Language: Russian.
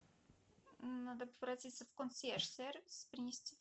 надо обратиться в консьерж сервис принести